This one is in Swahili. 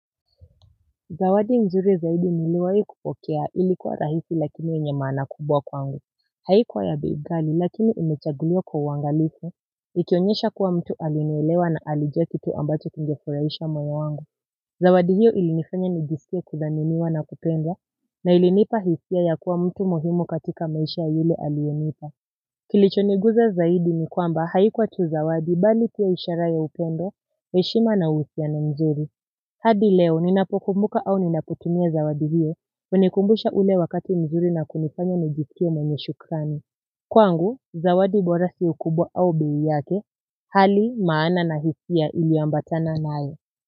Zawadi nzuri zaidi niliwahi kupokea ilikua rahisi lakini yenye maana kubwa kwangu haikuwa ya bei kali lakini imechaguliwa kwa uangalifu ikionyesha kuwa mtu alinielewa na alijua kitu ambacho kingefurahisha moyo wangu zawadi hiyo ilinifanya nijiskie kudhaminiwa na kupendwa na ilinipa hisia ya kuwa mtu muhimu katika maisha yale aliyonipa kilichoniguza zaidi ni kwamba haikuwa tu zawadi bali pia ishara ya upendo heshima na husiano mzuri. Hadi leo, ninapokumbuka au ninapotumia zawadi hiyo, hunikumbusha ule wakati mzuri na kunifanya nijiskie mwenye shukrani. Kwangu, zawadi bora siyo kubwa au bei yake, hali maana na hisia ili ambatana naye.